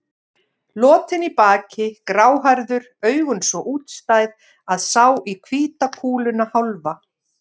Lotinn í baki, gráhærður, augun svo útstæð, að sá í hvíta kúluna hálfa.